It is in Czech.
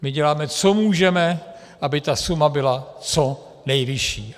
My děláme, co můžeme, aby ta suma byla co nejvyšší.